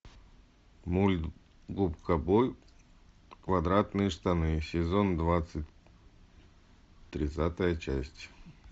мульт губка боб квадратные штаны сезон двадцать тридцатая часть